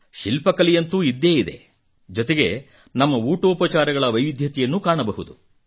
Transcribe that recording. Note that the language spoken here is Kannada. ಶಿಲ್ಪಕಲೆಯಂತೂ ಇದ್ದೇ ಇದೆ ಜೊತೆಗೆ ನಮ್ಮ ಉಟೋಪಚಾರಗಳ ವೈವಿಧ್ಯತೆಯನ್ನೂ ಕಾಣಬಹುದು